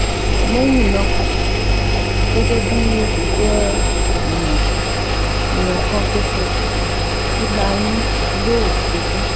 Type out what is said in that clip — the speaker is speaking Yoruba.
Lẹ́yìn náà, gẹ́gẹ́ bí ó ṣe jẹ́ ìwọ̀n ìwọ̀n kan ṣoṣo, ìlà inú yóò ṣubú